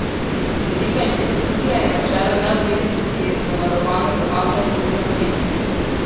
Z vidika inštitucije je načelo neodvisnosti zavarovano z aktom o ustanovitvi.